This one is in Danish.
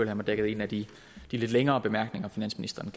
jeg mig dækket ind af de lidt længere bemærkninger finansministeren